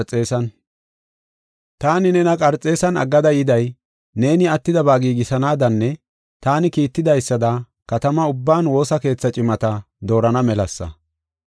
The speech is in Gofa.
Taani nena Qarxeesan aggada yiday, neeni attidaba giigisanaadanne taani kiittidaysada katamaa ubban woosa keetha cimata doorana melasa.